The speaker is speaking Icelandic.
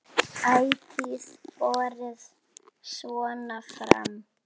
Ætíð borið svona fram.